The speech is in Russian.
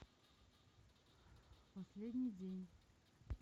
последний день